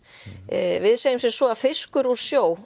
við segjum sem svo að fiskur úr sjó